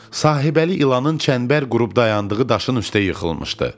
Sahibəli ilanın çənbər qırıb dayandığı daşın üstə yıxılmışdı.